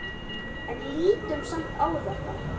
En lítum samt á þetta.